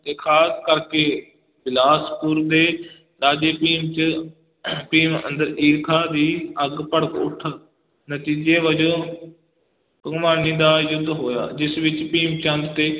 ਤੇ ਖਾਸ ਕਰਕੇ ਬਿਲਾਸਪੁਰ ਦੇ ਰਾਜੇ ਭੀਮ 'ਚ ਭੀਮ ਅੰਦਰ ਈਰਖਾ ਦੀ ਅੱਗ ਭੜਕ ਉਠ, ਨਤੀਜੇ ਵਜੋਂ ਭੰਗਾਣੀ ਦਾ ਯੁੱਧ ਹੋਇਆ, ਜਿਸ ਵਿਚ ਭੀਮ ਚੰਦ ਤੇ